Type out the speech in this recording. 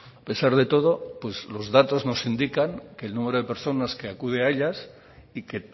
a pesar de todo los datos nos indican que el número de personas que acude a ellas y que